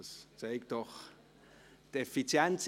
Das zeigt doch Effizienz.